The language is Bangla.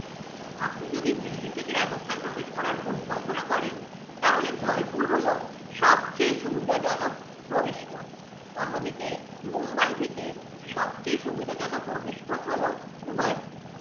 আপনি যদি দিল্লি থেকে রাজস্থান প্রবেশ করার পরিকল্পনা করেন তাহলে জয়পুর হলো সবচেয়ে সুবিধাজনক প্রবেশ পথ অন্যদিকে মুম্বাই থেকে সবচেয়ে সুবিধাজনক প্রবেশপথ হলো উদয়পুর।